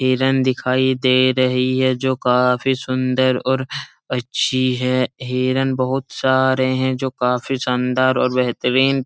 हिरन दिखाई दे रही है जो काफी सुन्दर और अच्छी है| हिरन बहोत सारे हैं जो काफी शानदार और बेहतरीन --